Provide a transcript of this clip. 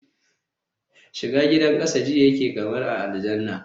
shiga gidan kasa ji yake kamar a aljanna